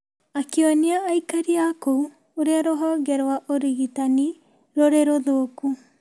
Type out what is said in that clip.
akĩonia aikari a kou ũrĩa rũhonge rwaũrigitanirũrĩ rũthoku.